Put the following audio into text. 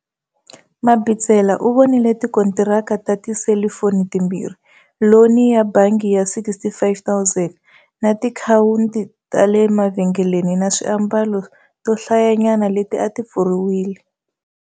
Mabitsela u vonile tikontiraka ta tiselifoni timbirhi, loni ya bangi ya R65 000 na tiakhawunti ta le mavhengeleni ta swiambalo to hlayanyana leti a ti pfuriwile